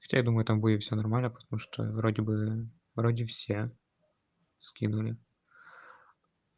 хотя я думаю там будет все нормально потому что я вроде бы вроде все скидывали